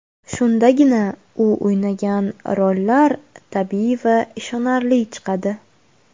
Shundagina u o‘ynagan rollar tabiiy va ishonarli chiqadi.